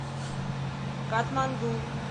катманду